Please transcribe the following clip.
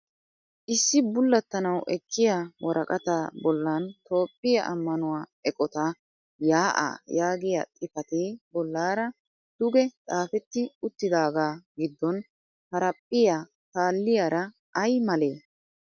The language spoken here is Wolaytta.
Issi bullattanwu ekkiya woraqataa bollaani Toophiyaa ammanuwa eqotaa yaa'aa yaagiyaa xipatee bollaara duge xaafetti uttidaagaa giddon haraphphiya paalliyaara ayi male?